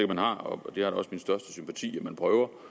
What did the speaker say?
man har og det har også min største sympati at man prøver på